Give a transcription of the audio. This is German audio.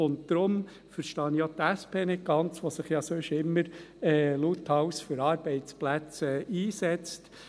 Deshalb verstehe ich auch die SP nicht ganz, die sich ja sonst immer lauthals für Arbeitsplätze einsetzt.